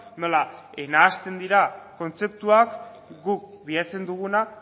nola nahasten dira kontzeptuak guk bilatzen duguna